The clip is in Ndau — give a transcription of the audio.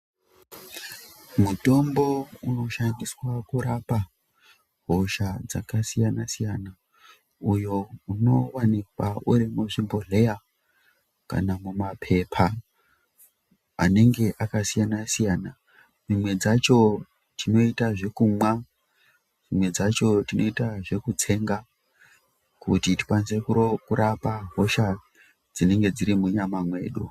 Mutombo unoshandiswa kurapa hosha dzakasiyana siyana uyo unowanikwa uri muzvibhodhleya kana mumapepa anenge akasiyana siyana. Dzimwe dzacho tinoita zvekumwa, dzimwe dzacho tinoita zvekutsenga kuti tikwanise kurapa hosha dzinenge dziri munyama mwedu.